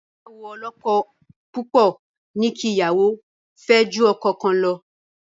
Ìgbéyàwó ọlọ́kọ-púpọ̀ ní kí ìyàwó fẹ́ ju ọkọ kan lọ.